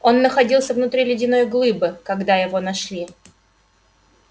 он находился внутри ледяной глыбы когда его нашли